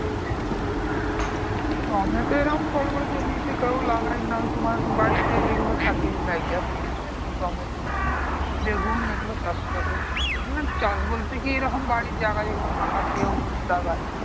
tomato এরকম বড়োবড়ো জমিতে কেউ লাগায় না ওই তোমার বাড়িতে যেগুলো থাকে তাই দিয়ে টমেটো বেগুন এইগুলো চাষ করে মানে চাষ বলতে কি এরকম বাড়ির জায়গা যেগুলো ফাঁকা থাকে ঐগুলোতেই লাগায়